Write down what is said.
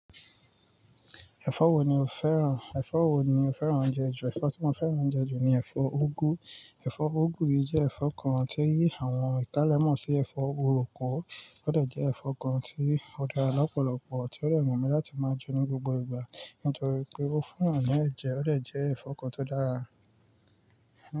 Ẹ̀fọ́ wo ni o fẹ́ràn, ẹ̀fọ́ wo ni o fẹ́ràn oúnjẹ jù? Ẹ̀fọ́ tí mo fẹ́ràn oúnjẹ jù ni ẹ̀fọ́ úgú. Ẹ̀fọ́ úgú yìí jẹ́ ẹ̀fọ́ kan tí àwọn ìkálẹ̀ mọ́ sí ẹ̀fọ́ uroko, ó dà jẹ́ ẹ̀fọ́ kan tí ó dára lọ́pọ̀lọpọ̀, tí ó dẹ̀ wu mi láti máa jẹ ní gbogbo ìgbà. Nítorí pé ó fún n yan ní ẹ̀jẹ̀, ó de jẹ́ ẹ̀fọ́ kan tó dára.